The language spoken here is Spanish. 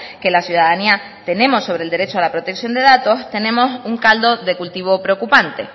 que la ciudadanía tenemos sobre el derecho la protección de datos tenemos un caldo de cultivo preocupante